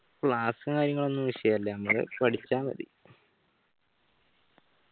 class ഉം കാര്യങ്ങളൊന്നും വിഷയല്ല അങ്ങനെ പഠിച്ച മതി